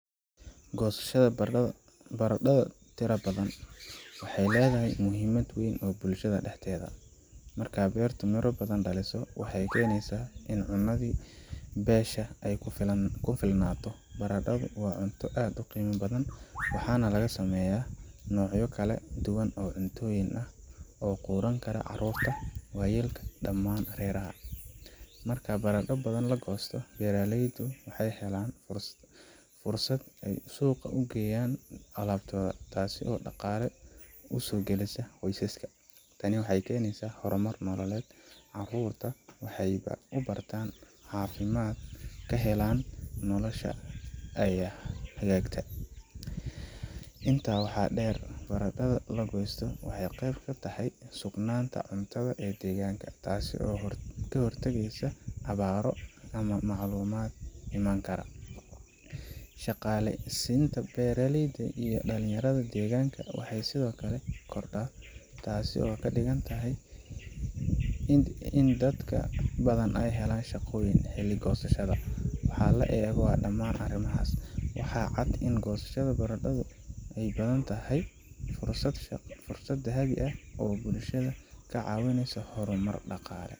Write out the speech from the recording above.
Goosashada baradho tiro badan waxay leedahay muhiimad weyn oo bulshada dhexdeeda ah. Marka beertu miro badan dhaliso, waxay keenaysaa in cunnadii beesha ay ku filnaato. Baradhadu waa cunto aad u qiimo badan, waxaana laga sameeyaa noocyo kala duwan oo cuntooyin ah oo quudin kara caruurta, waayeelka iyo dhammaan reeraha. Marka baradho badan la goosto, beeraleydu waxay helaan fursad ay suuqa ugeyaan alabtooda, taas oo dhaqaale u soo geliya qoysaska. Tani waxay keenaysaa horumar nololeed, carruurta wax bay u bartaan, caafimaad ayaa la helaa, nolosha ayaa hagaagta. Intaa waxaa dheer, baradhada la goostay waxay qeyb ka tahay sugnaanta cuntada ee deegaanka, taasoo ka hortagaysa abaaro ama macluul iman karta. Shaqaaleysiinta beeraleyda iyo dhalinyarada deegaanka waxay sidoo kale kordhaa, taasoo ka dhigan in dad badan helaan shaqooyin xilli goosashada. Marka la eego dhammaan arrimahaas, waxaa cad in goosashada baradho badan ay tahay fursad dahabi ah oo bulshada ka caawinaysa horumar dhaqaale.